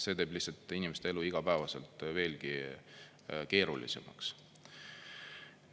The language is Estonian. See teeb lihtsalt inimeste elu igapäevaselt veelgi keerulisemaks.